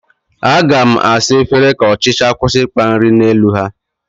Aga m asa efere ka ọchịcha kwụsị ịkpa nri n'elu ha